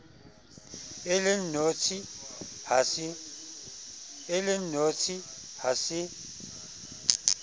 e le nnotshi ha se